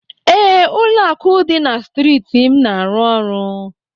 Ee, Ụlọakụ dị na striiti m na-arụ ọrụ.